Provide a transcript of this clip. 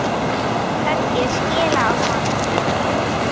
Höggið skilaði honum fugli.